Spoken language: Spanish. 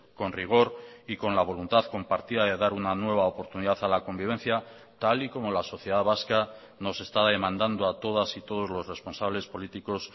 con rigor y con la voluntad compartida de dar una nueva oportunidad a la convivencia tal y como la sociedad vasca nos está demandando a todas y todos los responsables políticos